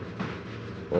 og